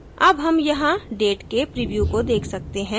अब हम यहाँ date के preview को देख सकते हैं